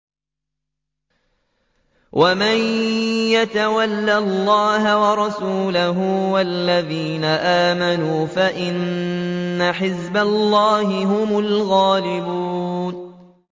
وَمَن يَتَوَلَّ اللَّهَ وَرَسُولَهُ وَالَّذِينَ آمَنُوا فَإِنَّ حِزْبَ اللَّهِ هُمُ الْغَالِبُونَ